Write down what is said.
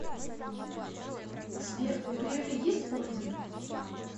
сбер у грефа есть орден